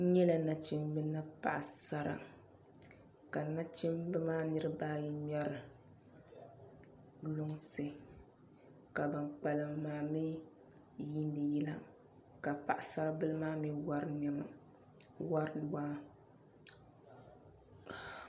N nyɛla nachimbi ni paɣasara ka nachimbi maa niraba ayi ŋmɛri lunsi ka ban kpalim maa mii yiindi yila ka paɣasari bili maa mii wori waa